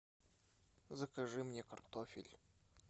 закажи мне картофель